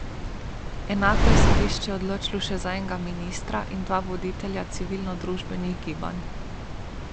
Enako je sodišče odločilo še za enega ministra in dva voditelja civilnodružbenih gibanj.